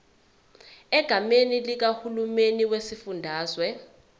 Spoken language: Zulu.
egameni likahulumeni wesifundazwe